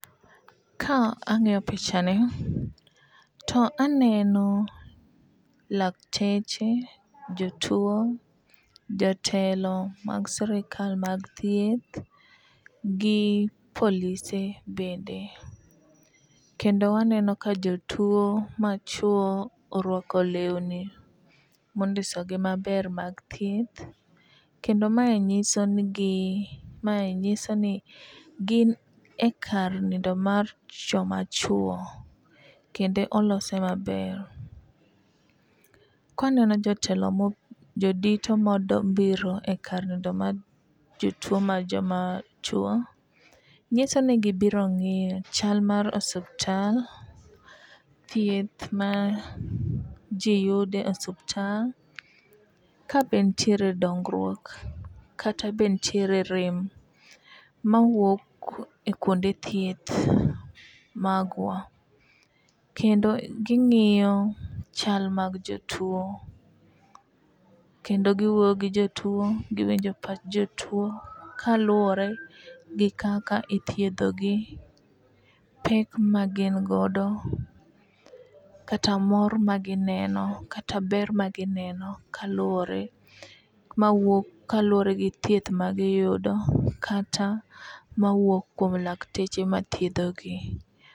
Ka ang'iyo pichani to aneno lakteche, jotuo, jatelo mag sirkal mag thieth gi polise bende. Kendo aneno ka jotuo machuo orwako lewni mondisogi maber mag thieth. Kendo mae nyiso ni gin e kar nindo mar joma chuo kendo olose maber. Kaneno jotelo jodito mobiro e kar nindo mar jotuo mar joma chuo nyiso ni gibiro ngiyo chal mar osuptal, thieth ma ji yude osuptal, ka be nitiere dongruok kata be nitie rem mawuok e kuonde thieth magwa. Kendo ging'iyo chal mag jotuo. Kendo giwuoyo gi jotuo, giwinjo pach jotuo kaluwore gi kaka ithiedho gi, pek magin godo kata mor magineno kata ber magineno kaluwore mawuok kaluwore gi thieth magiyudo kata mawuok kuom lakteche ma thiedho gi.